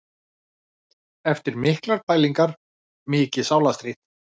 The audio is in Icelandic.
Eftir miklar pælingar, mikið sálarstríð.